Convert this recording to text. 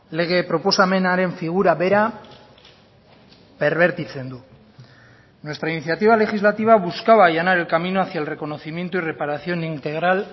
lege proposamenaren figura bera perbertitzen du nuestra iniciativa legislativa buscaba allanar el camino hacia el reconocimiento y reparación integral